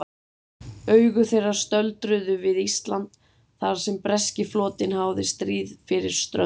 Augu þeirra stöldruðu við Ísland, þar sem breski flotinn háði stríð fyrir ströndum.